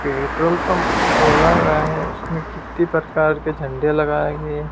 petrol pump खोला गया है उसमें कितने प्रकार के झंडे लगाएंगे--